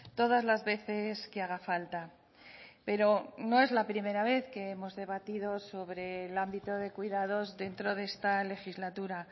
todas las veces que haga falta pero no es la primera vez que hemos debatido sobre el ámbito de cuidados dentro de esta legislatura